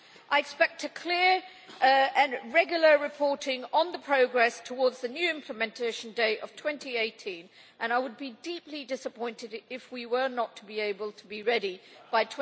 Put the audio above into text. I expect clear and regular reporting on the progress towards the new implementation date of 2018, and I would be deeply disappointed it we were not able to be ready by